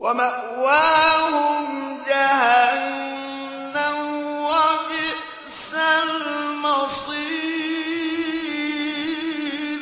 وَمَأْوَاهُمْ جَهَنَّمُ ۖ وَبِئْسَ الْمَصِيرُ